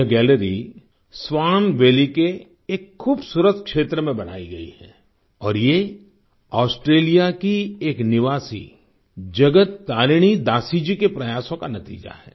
यह gallery Swan Valley के एक खूबसूरत क्षेत्र में बनाई गई है और ये ऑस्ट्रेलिया की एक निवासी जगत तारिणी दासी जी के प्रयासों का नतीजा है